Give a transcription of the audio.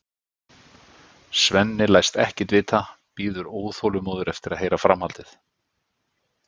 Svenni læst ekkert vita, bíður óþolinmóður eftir að heyra framhaldið.